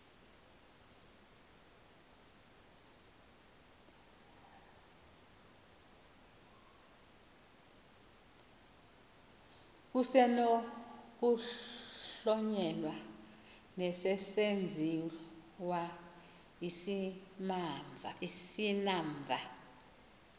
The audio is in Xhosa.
kusenokuhlonyelwa nesesenziwa isimamva